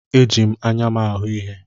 Eji m anya m na-ahụ ihe.